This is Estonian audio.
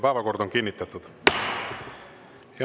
Päevakord on kinnitatud.